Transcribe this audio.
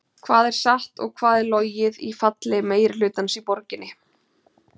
Hvað er satt og hvað er logið í falli meirihlutans í borginni?